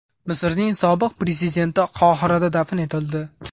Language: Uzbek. Misrning sobiq prezidenti Qohirada dafn etildi.